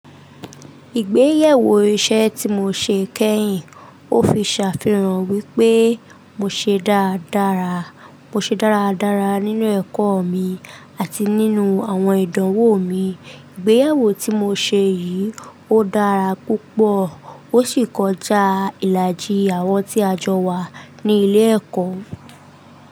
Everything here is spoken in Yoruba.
Ìgbéyèwó iṣẹ́ tí mo ṣe kẹ́yìn, ó fi ṣàfihàn wípé mo ṣe dáradára, mo ṣe dáradára nínú ẹ̀kọ́ mi àti nínú àwọn ìdánwò mi. Ìgbéyèwó tí mo ṣe yìí ó dára púpọ̀ ó sì kọjá ìlàjì àwọn tí a jọ wà ní ilé ẹ̀kọ́.